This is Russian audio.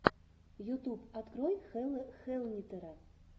ютьюб открой хелла хэллнитера